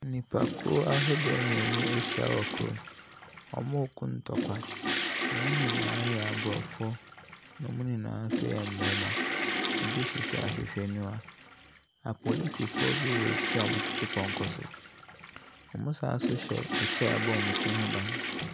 Nnipakuo ahodoɔ mmienu ahyia wɔ kurom. Wɔreko ntɔkwa. Wɔn nyinaa yɛ aborɔfo, na wɔn nyinaa nso yɛ mmarima. Ebi hyehyɛ ahwehwɛniwa. Apolisifoɔ bi wɔ akyire a wɔtete pɔnkɔ so. Wɔsan hyɛ kyɛ a ɛbɔ wɔn ti ho ban.